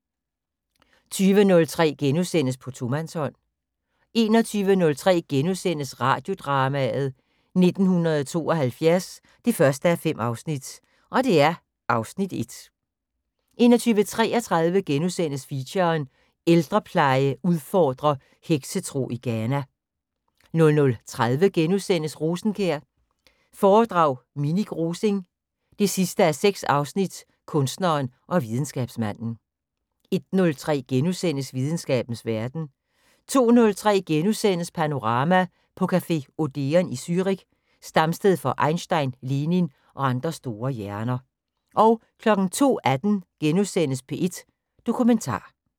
20:03: På tomandshånd * 21:03: Radiodrama: 1972 1:5 (Afs. 1)* 21:33: Feature: Ældrepleje udfordrer heksetro i Ghana * 00:30: Rosenkjær foredrag Minik Rosing 6:6 Kunstneren og videnskabsmanden * 01:03: Videnskabens Verden * 02:03: Panorama: På café Odeon i Zürich, stamsted for Einstein, Lenin og andre store hjerner * 02:18: P1 Dokumentar *